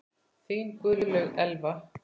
Þín Guðlaug Elfa.